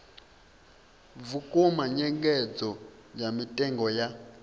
vhukuma nyengedzo ya mitengo ya